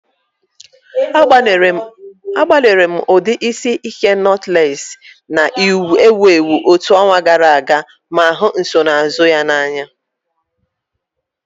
Agbalịrị m ụdị isi ike notulesi na-ewu ewu otu ọnwa gara aga ma hụ nsonaazụ ya n'anya.